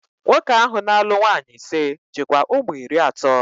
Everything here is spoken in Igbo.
Nwoke ahụ na-alụ nwaanyị ise, jikwa ụmụ iri atọ